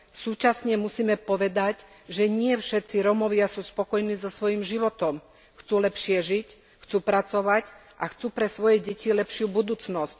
Súčasne však musíme povedať, že nie všetci Rómovia sú spokojní so svojím životom chcú lepšie žiť, chcú pracovať a chcú pre svoje deti lepšiu budúcnosť.